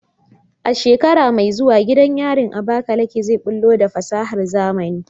A shekara mai zuwa, gidan yarin Abakaleke zai bullo da fasahar zamani.